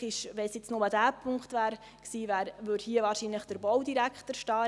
Wäre es jetzt nur dieser Punkt gewesen, stünde wahrscheinlich der Baudirektor hier.